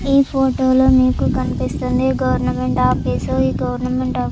ఈ ఫోటో లో మీకు కనిపిస్తుంది గోవర్నమెంట్ ఆఫీస్ ఈ గోవర్నమెంట్ ఆఫీస్ --